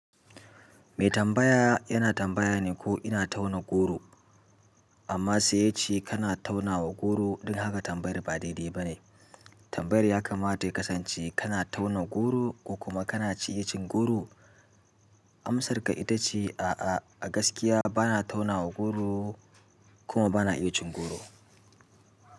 Me tambaya yana tambaya ne ko ina tauna goro? Amma sai ya ce kana tauna wa goro, don haka tambayar ba daidai ba ne. Tambayar ya kamata ya kasance kana tauna goro ko kuma kana iya cin goro? Amsarka ita ce a'a, a gaskiya bana tauna wa goro kuma bana iya cin goro.